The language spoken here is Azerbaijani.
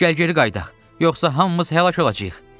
Gəl geri qayıdaq, yoxsa hamımız həlak olacağıq.